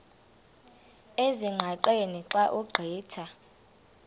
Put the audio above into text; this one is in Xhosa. ezingqaqeni xa ugqitha